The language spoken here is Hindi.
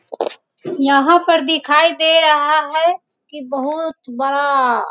यहाँ पर दिखाई दे रहा हैं कि बहोत बड़ा